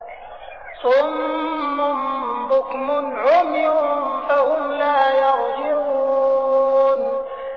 صُمٌّ بُكْمٌ عُمْيٌ فَهُمْ لَا يَرْجِعُونَ